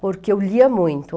Porque eu lia muito.